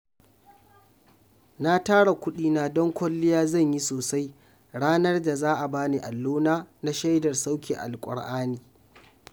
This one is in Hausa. Na tara kuɗina don kwalliya zan yi sosai ranar da za a bani allona na shaidar sauke alƙur'ani